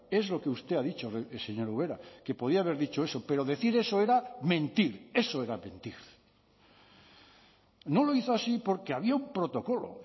es lo que usted ha dicho señora ubera que podía haber dicho eso pero decir eso era mentir eso era mentir no lo hizo así porque había un protocolo